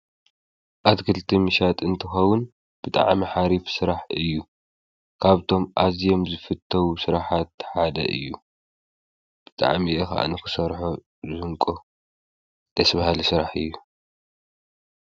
ኣትክልቲ ምሻት እንትኸዉን ብጥዕሚ ሓሪፍ ሥራሕ እዩ ካብቶም ኣዝም ዝፍተዉ ሥራኃት ሓደ እዩ ብጥዕሚኢኽ ኣነክሠርሖ ዘንቆ ተስበሃሊ ሥራሕ እዩ።